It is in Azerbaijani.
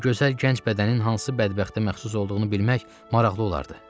Bu gözəl gənc bədənin hansı bədbəxtə məxsus olduğunu bilmək maraqlı olardı.